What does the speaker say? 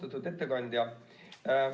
Austatud ettekandja!